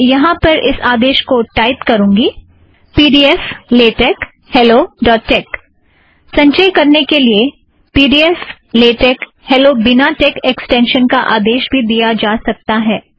मैं यहाँ पर इस आदेश को टाइप करूँगी - P D F dot LaTeX hello dot tex pdfलेटेक्स helloटेक्स संचय करने के लिए P D F dot LaTeX hello बिना टेक ऐक्स्टेंशन का आदेश भी दिया जा सकता है